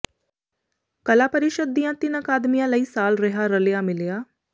ਕਲਾ ਪ੍ਰੀਸ਼ਦ ਦੀਆਂ ਤਿੰਨ ਅਕਾਦਮੀਆਂ ਲਈ ਸਾਲ ਰਿਹਾ ਰਲਿਆ ਮਿਲਿਆ